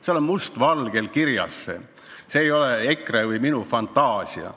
Seal on see must valgel kirjas, see ei ole EKRE või minu fantaasia.